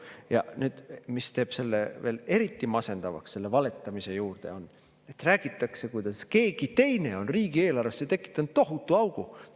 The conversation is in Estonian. Ja mis teeb selle veel eriti masendavaks, selle valetamise, et räägitakse, kuidas keegi teine on riigieelarvesse tekitanud tohutu augu.